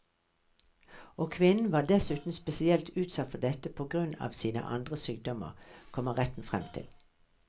Og kvinnen var dessuten spesielt utsatt for dette på grunn av sine andre sykdommer, kommer retten frem til.